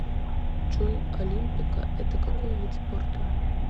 джой олимпико это какой вид спорта